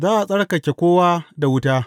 Za a tsarkake kowa da wuta.